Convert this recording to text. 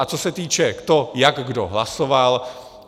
A co se týče toho, jak kdo hlasoval.